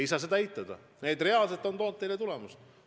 Ei saa eitada, et need reaalselt on teile tulemusi toonud.